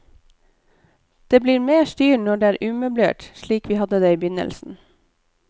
Det blir mer styr når det er umøblert, slik vi hadde det i begynnelsen.